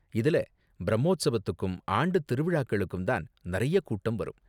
இதுல பிரம்மோத்ஸவத்துக்கும் ஆண்டுத் திருவிழாக்களுக்கு தான் நறைய கூட்டம் வரும்.